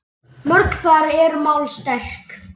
Mörg þar eru mál sterk.